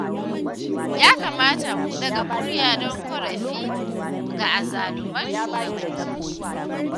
Ya kamata mu ɗaga murya don ƙorafi ga azzaluman shugabanni